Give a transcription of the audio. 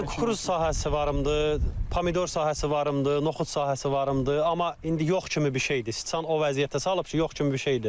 Mən kruz sahəsi varımdır, pamidor sahəsi varımdır, noxud sahəsi varımdır, amma indi yox kimi bir şeydir, sıçan o vəziyyətə salıb ki, yox kimi bir şeydir.